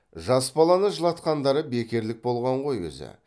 жас баланы жылатқандары бекерлік болған ғой өзі